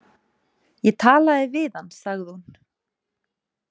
Ég talaði við hann, sagði hún.